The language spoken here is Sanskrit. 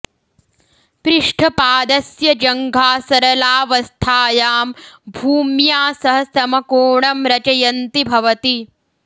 पृष्ठपादस्य जङ्घा सरलावस्थायां भूम्या सह समकोणं रचयन्ति भवति